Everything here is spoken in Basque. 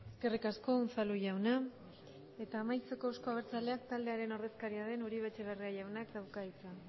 eskerrik asko unzalu jauna eta amaitzeko euzko abertzaleak taldearen ordezkaria den uribe etxebarriak jaunak dauka hitza